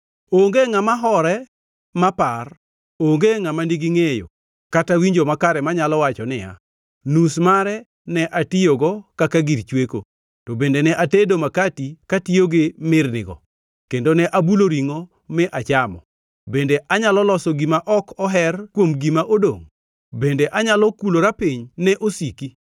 Onge ngʼama hore mapar, onge ngʼama nigi ngʼeyo kata winjo makare manyalo wacho niya, “Nus mare ne atiyogo kaka gir chweko; to bende ne atedo makati katiyo gi mirnigo, kendo ne abulo ringʼo mi achamo. Bende anyalo loso gima ok oher kuom gima odongʼ? Bende anyalo kulora piny ne osiki?”